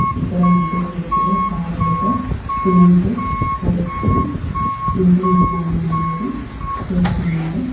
ఇక్కడ ముగ్గురు వ్యక్తులు పారలతో సిమెంటు పోస్తూ ఇంటి నిర్మాణం అనేది చేస్తున్నారు.